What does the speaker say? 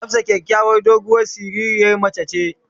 Hafsat kyakyawar doguwar siririn mace ce.